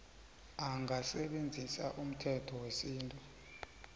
angasebenzisa umthetho wesintu